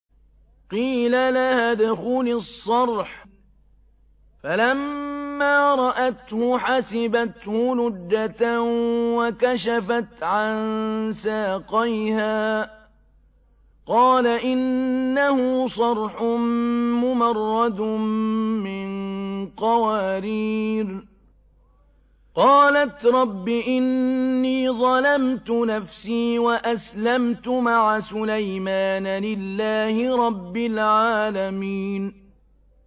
قِيلَ لَهَا ادْخُلِي الصَّرْحَ ۖ فَلَمَّا رَأَتْهُ حَسِبَتْهُ لُجَّةً وَكَشَفَتْ عَن سَاقَيْهَا ۚ قَالَ إِنَّهُ صَرْحٌ مُّمَرَّدٌ مِّن قَوَارِيرَ ۗ قَالَتْ رَبِّ إِنِّي ظَلَمْتُ نَفْسِي وَأَسْلَمْتُ مَعَ سُلَيْمَانَ لِلَّهِ رَبِّ الْعَالَمِينَ